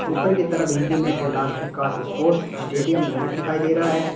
ऊपर की तरफ हिंदी में कैलाश प्रकाश स्पोर्ट्स स्टेडियम मेरठ दिखाई दे रहा है।